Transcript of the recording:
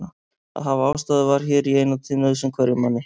Að hafa ástæðu var hér í eina tíð nauðsyn hverjum manni.